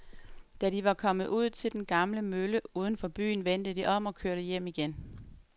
Da de var kommet ud til den gamle mølle uden for byen, vendte de om og kørte hjem igen.